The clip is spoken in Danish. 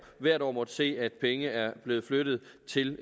hvert år måttet se at penge er blevet flyttet til